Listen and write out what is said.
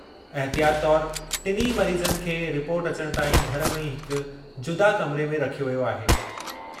अहितियात तौरु टिनि मरीज़नि खे रिपोर्ट अचणु ताईं घर में ई हिक जुदा कमरे में रखियो वियो आहे।